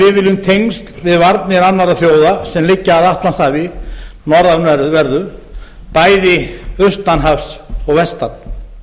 við viljum tengsl við varnir annarra þjóða sem liggja að atlantshafi norðanverðu bæði austan hafs og vestan